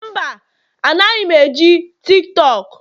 Mba, anaghị m eji TikTok